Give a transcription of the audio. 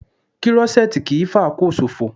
Krọ́ṣẹ́tì kì í fàkóò ṣòfò